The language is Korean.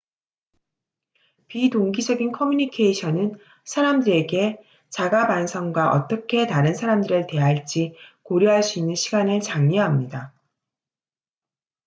비동기적인 커뮤니케이션은 사람들에게 자가 반성과 어떻게 다른 사람들을 대할지 고려할 수 있는 시간을 장려합니다